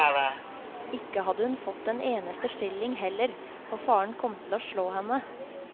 Ikke hadde hun fått en eneste skilling heller, og faren kom til å slå henne.